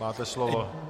Máte slovo.